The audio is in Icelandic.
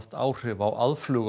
áhrif á aðflug